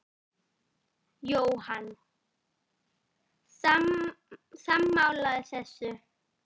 Jóhann: Sammála þessu?